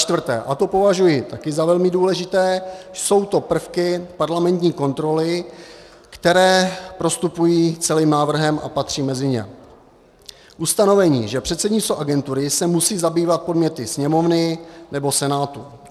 Začtvrté, a to považuji taky za velmi důležité, jsou to prvky parlamentní kontroly, které prostupují celým návrhem a patří mezi ně: ustanovení, že předsednictvo agentury se musí zabývat podněty Sněmovny nebo Senátu;